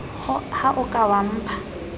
ha o ka wa mpha